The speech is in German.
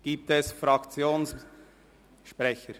Gibt es Fraktionssprecher?